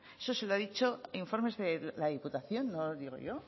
eso se la ha dicho informes de la diputación no lo digo yo